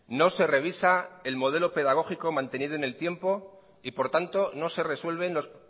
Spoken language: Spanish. no se revisa el modelo pedagógico mantenido en el tiempo y por tanto no se resuelven los